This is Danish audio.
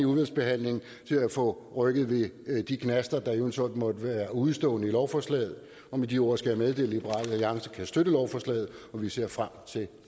udvalgsbehandlingen til at få rykket ved de knaster der eventuelt måtte udestå i lovforslaget og med de ord skal jeg meddele at liberal alliance kan støtte lovforslaget og vi ser frem til